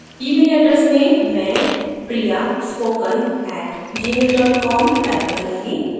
email address में मैं priyaspoken @gmail com type करूँगी